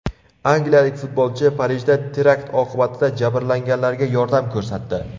Angliyalik futbolchi Parijda terakt oqibatida jabrlanganlarga yordam ko‘rsatdi.